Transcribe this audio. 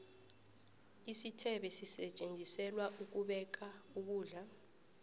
isithebe sisetjenziselwa ukubeka ukulda